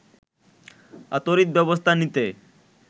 তড়িৎ ব্যবস্থা নিতে